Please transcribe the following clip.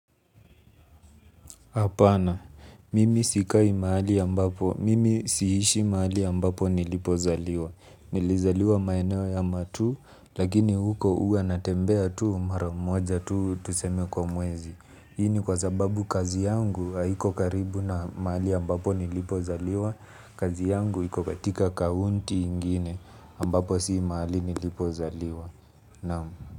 Hapana, mimi sikai mahali ambapo, mimi siishi mahali ambapo nilipozaliwa, nilizaliwa maeneo ya matuu, lakini huko huwa natembea tu, maramoja tu, tuseme kwa mwezi, hii ni kwa sababu kazi yangu haiko karibu na mahali ambapo nilipozaliwa, kazi yangu iko katika kaunti ingine ambapo si mahali nilipozaliwa, naam.